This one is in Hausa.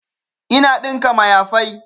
Ina ɗinka mayafai